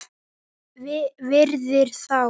Virðir þá.